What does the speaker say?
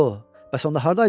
Ooo, bəs onda hardaydınız?